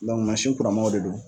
masin kuran manw de don